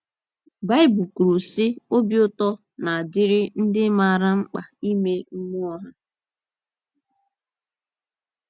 ” Baịbụl kwuru, sị: “ Obi ụtọ na - adịrị ndị maara mkpa ime mmụọ ha. ”